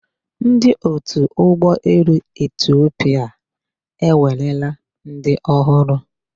Ndi otu Ụgbọelu Etiopia ewerela ndị ọhụrụ.